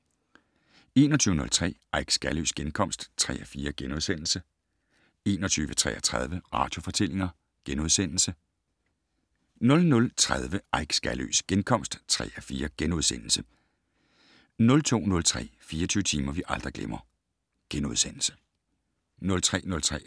21:03: Eik Skaløes genkomst (3:4)* 21:33: Radiofortællinger * 00:30: Eik Skaløes genkomst (3:4)* 01:03: Skønlitteratur på P1 * 02:03: 24 timer, vi aldrig glemmer *